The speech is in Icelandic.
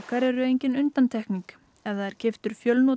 eru engin undantekning ef það er keyptur